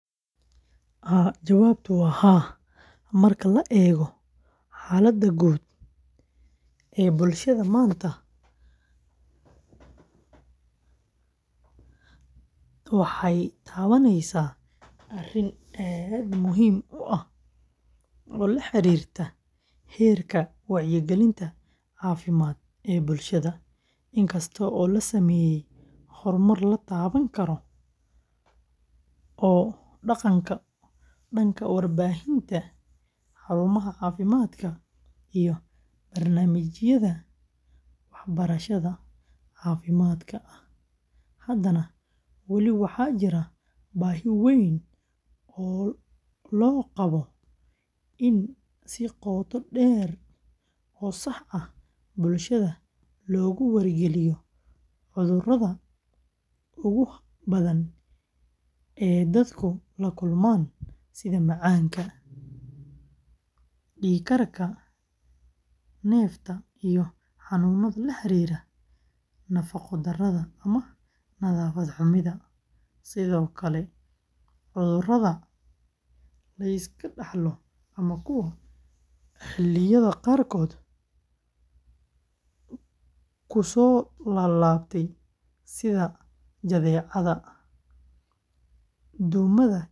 Haa, marka la eego xaaladda guud ee bulshada maanta, waxay taabaneysaa arrin aad muhiim u ah oo la xiriirta heerka wacyigelinta caafimaad ee bulshada. Inkasta oo la sameeyay horumar la taaban karo oo dhanka warbaahinta, xarumaha caafimaadka, iyo barnaamijyada waxbarashada caafimaadka ah, haddana wali waxaa jira baahi weyn oo loo qabo in si qoto dheer oo sax ah bulshada loogu wargeliyo cudurrada ugu badan ee dadku la kulmaan sida macaanka, dhiig karka, neefta, iyo xanuunnada la xiriira nafaqodarrada ama nadaafadda xumida. Sidoo kale, cudurrada la iska dhaxlo ama kuwa xilliyada qaarkood kusoo laab laabtay sida jadeecada, duumada iyo shuban biyoodka.